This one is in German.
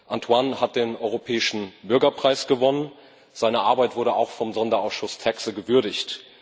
Antoine hat den Europäischen Bürgerpreis gewonnen, seine Arbeit wurde auch vom Sonderausschuss TAXE gewürdigt.